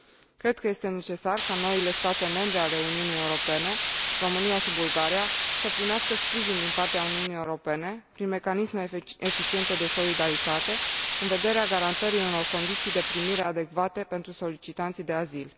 Cred că este necesar ca noile state membre ale Uniunii Europene, România și Bulgaria, să primească sprijin din partea Uniunii Europene prin mecanisme eficiente de solidaritate, în vederea garantării unor condiții de primire adecvate pentru solicitanții de azil.